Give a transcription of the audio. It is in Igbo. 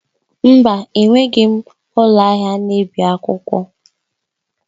Mba! Enweghị m ụlọ ahịa na-ebi akwụkwọ.